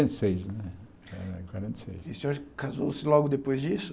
E o senhor casou-se logo depois disso?